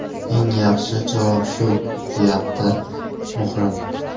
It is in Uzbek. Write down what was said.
Eng yaxshi javob shu”, deyapti Muhrim.